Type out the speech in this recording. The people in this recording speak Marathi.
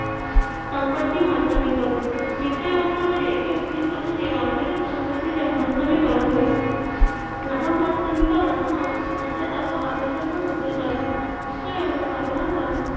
संपत्ति महतमी करण वित्त व्यवस्था म्हणजे एकमेव उदिष्ट म्हणजे मालकाच्या संपत्ति चे महतमी करण होय . नफा महतमी करण हा वंशाचा व अभ्यासतमक उदिष्ट आहे. वित्त व्यवस्थापनाचा